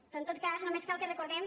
però en tot cas només cal que recordem